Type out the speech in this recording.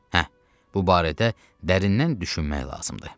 Hə, bu barədə dərindən düşünmək lazımdır.